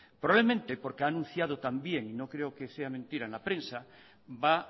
probablemente porque ha anunciado también y no creo que sea mentira en la prensa va